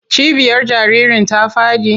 Cibiyar jaririn ta faɗi?